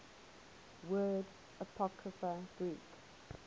word apocrypha greek